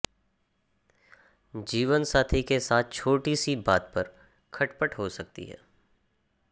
जीवनसाथी के साथ छोटी सी बात पर खटपट हो सकती है